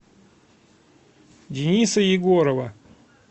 дениса егорова